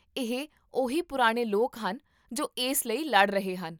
ਇਹ ਉਹੀ ਪੁਰਾਣੇ ਲੋਕ ਹਨ ਜੋ ਇਸ ਲਈ ਲੜ ਰਹੇ ਹਨ